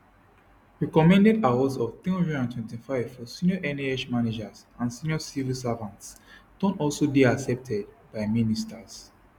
recommended awards of 325 for senior nhs managers and senior civil servants don also dey accepted by ministers